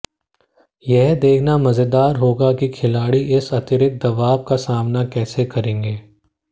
यह देखना मजेदार होगा कि खिलाड़ी इस अतिरिक्त दबाव का सामना कैसे करते हैं